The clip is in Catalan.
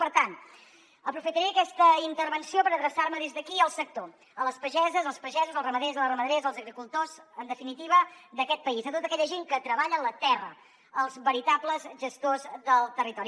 per tant aprofitaré aquesta intervenció per adreçar me des d’aquí al sector a les pageses als pagesos als ramaders a les ramaderes als agricultors en definitiva d’aquest país a tota aquella gent que treballen la terra els veritables gestors del territori